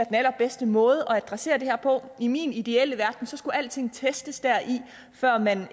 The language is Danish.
den allerbedste måde at adressere det her på i min ideelle verden skulle alting testes før man